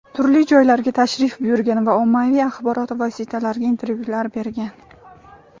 turli joylarga tashrif buyurgan va ommaviy axborot vositalariga intervyular bergan.